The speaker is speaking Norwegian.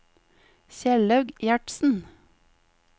Kjellaug Gjertsen